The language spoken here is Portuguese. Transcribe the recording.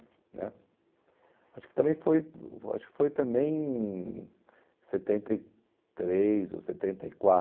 né, acho que também foi, acho que foi também em setenta e três ou setenta e